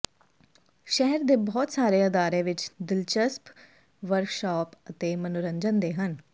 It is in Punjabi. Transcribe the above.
ਸ਼ਹਿਰ ਦੇ ਬਹੁਤ ਸਾਰੇ ਅਦਾਰੇ ਵਿੱਚ ਦਿਲਚਸਪ ਵਰਕਸ਼ਾਪ ਅਤੇ ਮਨੋਰੰਜਨ ਦੇ ਹਨ